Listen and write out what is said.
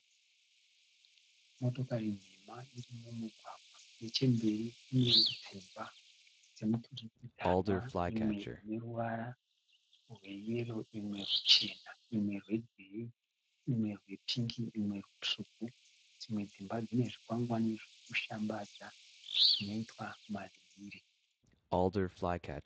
Motakari nhema iri mumugwagwa. Nechemberi kunedzimba dzemuturikidzanwa. Imwe ineruvara rweyero, imwe ruchena, imwe rwegirinhi, imwerwepingi imwe rutsvuku. Dzimwe dzimba dzine zvikwangwane zvekushambadza zvinoitwa madziri.